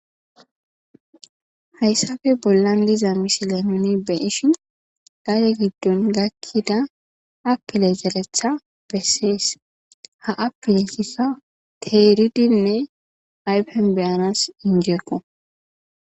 Hayssappe bollan diza misile nuun bayishin gadde giddon gakida apile zereththa beses ha apilezi teridinne ayfen beyanas injekko